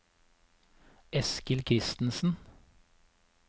Eskil Kristensen